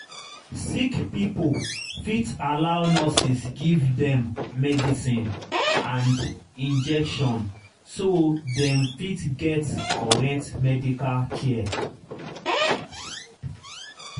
sick pipo fit allow nurses give dem medicine and injection so dem fit get correct medical care